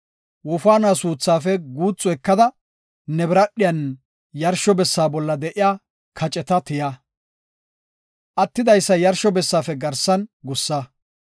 Wofaanuwa suuthaafe guuthu ekada ne biradhiyan, yarsho bessa bolla de7iya kaceta tiya. Attidaysa yarsho bessaafe garsan gussa.